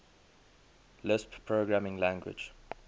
lisp programming language